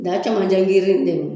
Da caman giri in de don